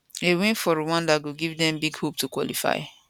a win for rwanda go give dem big hope to qualify